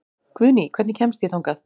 Guðný, hvernig kemst ég þangað?